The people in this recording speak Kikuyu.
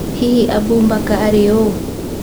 Hihi Abu Mbaka arĩ ũũ?